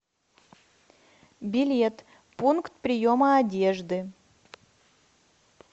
билет пункт приема одежды